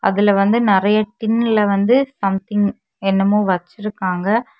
இதுல வந்து நெறைய டின்ல வந்து சம்திங் என்னமோ வச்சுருக்காங்க.